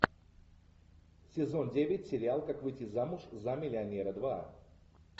сезон девять сериал как выйти замуж за миллионера два